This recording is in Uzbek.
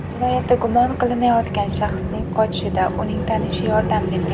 Jinoyatda gumon qilinayotgan shaxsning qochishida uning tanishi yordam bergan.